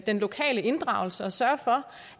den lokale inddragelse og sørge for